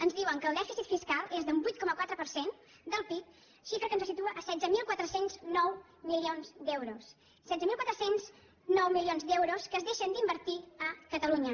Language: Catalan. ens diuen que el dèficit fiscal és d’un vuit coma quatre per cent del pib xifra que ens situa en setze mil quatre cents i nou milions d’euros setze mil quatre cents i nou milions d’euros que es deixen d’invertir a catalunya